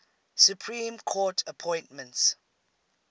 supreme court appointments